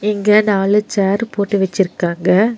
இங்க நாலு சேர் போட்டு வெச்சிர்க்காங்க.